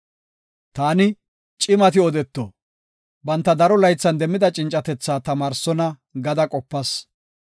Taani, ‘Cimati odeto; banta daro laythan demmida cincatethaa tamaarsonna’ ” gada qopas.